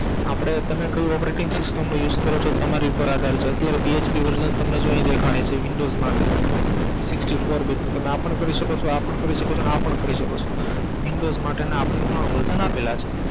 આપણે તમે કયું operating system નો use કરો છો તમારી ઉપર આધાર છે અત્યારે PHP version જો તમને અહી દેખાડે છે windows માટે Sixty four bit નું તમે આ પણ કરી સકો છો આઅ પણ કરી સકો છો અને આઅ પણ કરી સકો છો.